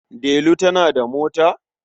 Delu tana da mota?